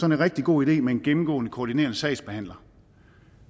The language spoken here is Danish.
en rigtig god idé med en gennemgående koordinerende sagsbehandler